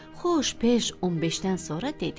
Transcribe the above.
Xoş beş 15-dən sonra dedi: